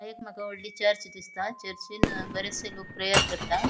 हांगा एक मका वडली चर्च दिसता चर्चिन अ बरेचसे लोक प्रेयर करता.